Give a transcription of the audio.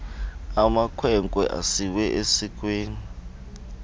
amakhwenkwe asiwe esikweni